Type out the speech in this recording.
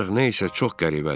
Ancaq nəsə çox qəribədir.